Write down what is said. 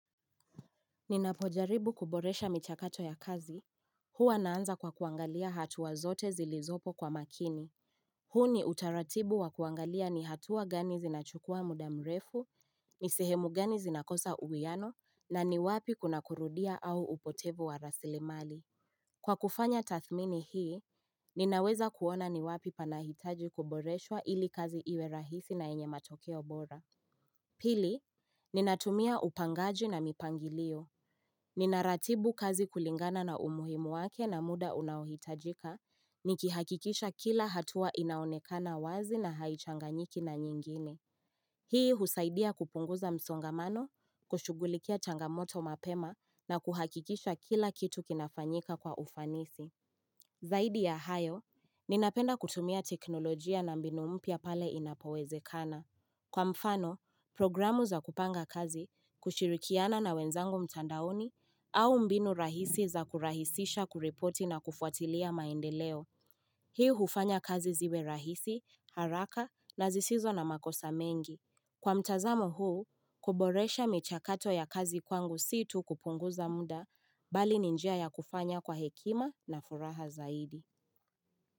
Ninapojaribu kuboresha michakato ya kazi, huwa naanza kwa kuangalia hatuwa zote zilizopo kwa makini. Huu ni utaratibu wa kuangalia ni hatuwa gani zinachukua muda mrefu, nisihemu gani zinakosa uwiano, na ni wapi kuna kurudia au upotevu wa rasilemali. Kwa kufanya tathmini hii, ninaweza kuona ni wapi panahitaji kuboreshwa ili kazi iwe rahisi na yenye matokeo bora. Pili, ninatumia upangaji na mipangilio. Ninaratibu kazi kulingana na umuhimu wake na muda unahitajika, nikihakikisha kila hatua inaonekana wazi na haichanganyiki na nyingine. Hii husaidia kupunguza msongamano, kushugulikia changamoto mapema na kuhakikisha kila kitu kinafanyika kwa ufanisi. Zaidi ya hayo, ninapenda kutumia teknolojia na mbinu mpya pale inapowezekana. Kwa mfano, programu za kupanga kazi, kushirikiana na wenzangu mtandaoni, au mbinu rahisi za kurahisisha kureporti na kufuatilia maendeleo. Hii hufanya kazi ziwe rahisi, haraka na zisizo na makosa mengi. Kwa mtazamo huu, kuboresha michakato ya kazi kwangu situ kupunguza muda, bali ni njia ya kufanya kwa hekima na furaha zaidi.